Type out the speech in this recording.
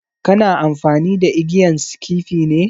Kana amfani da igiyan skifi ne?